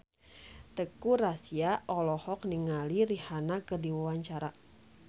Teuku Rassya olohok ningali Rihanna keur diwawancara